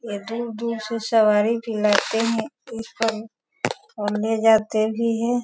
ये दूर-दूर से सवारी भी लाते है और इस पर और ले भी जाते भी है।